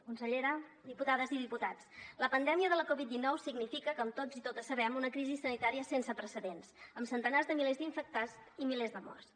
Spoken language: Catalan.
consellera diputades i diputats la pandèmia de la covid dinou significa com tots i totes sabem una crisi sanitària sense precedents amb centenars de milers d’infectats i milers de morts